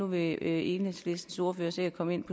vil enhedslistens ordfører sikkert komme ind